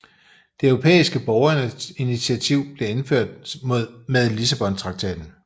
Det europæiske borgerinitiativ blev indført med Lissabontraktaten